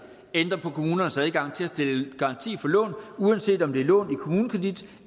ændrer på kommunernes adgang til at stille garanti for lån uanset om det er lån i kommunekredit